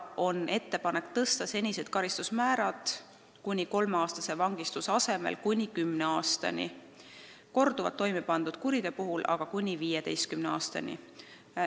On ettepanek tõsta senised karistusmäärad kuni kolmeaastase vangistuse asemel kuni kümne aastani, korduvalt toimepandud kuriteo eest aga kuni 15 aastani.